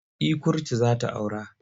Eh kurtu za ta aura.